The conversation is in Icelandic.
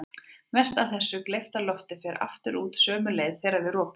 Mest af þessu gleypta lofti fer aftur út sömu leið þegar við ropum.